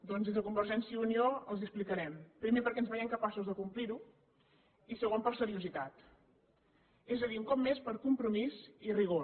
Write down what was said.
doncs des de convergència i unió els ho explicarem primer perquè ens veiem capaços de complir ho i segon per seriositat és a dir un cop més per compromís i rigor